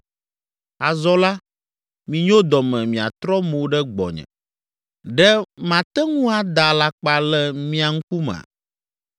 “Azɔ la, minyo dɔ me miatrɔ mo ɖe gbɔnye, ɖe mate ŋu ada alakpa le mia ŋkumea?